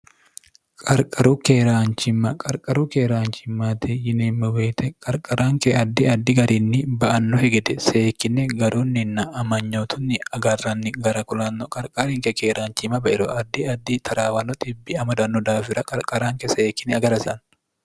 qarqaru keeraanchimma qarqaru keeraanchimmaate yineemme woyite qarqaraanke addi addi garinni ba"annokki gedenna seekkinne garunninna amanyotunni agarranni agaranni gara kulanno qarqaarinke keeraanchimma bairo addi addi taraawano dhibbi amadanno daafira qarqaraanke seekkine agarasanno